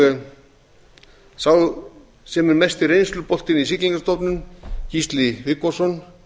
ofursnjalla hafnargerðarmenn sá sem er mesti reynsluboltinn í siglingastofnun gísli viggósson